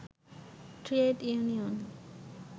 trade union